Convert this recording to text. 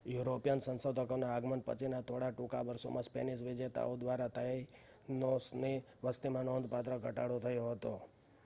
European સંશોધકોના આગમન પછીના થોડા ટૂંકા વર્ષોમાં સ્પેનિશ વિજેતાઓ દ્વારા તાઈનોસની વસતીમાં નોંધપાત્ર ઘટાડો થયો હતો